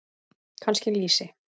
Kannski lýsi?